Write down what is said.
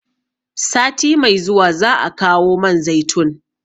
Sati mai zuwa za'a kawo man zaitun